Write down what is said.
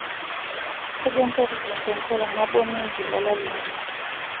Kaja nkatitin tenkolong' nabo niik ilala linonok?